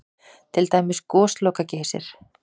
Til dæmis Gosloka-Geysir?